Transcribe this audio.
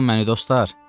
Buraxın məni, dostlar!